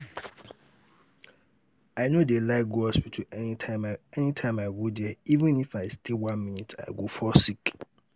i no dey like go hospital anytime i go there even if i stay one minute i go fall sick